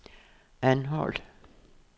Anholt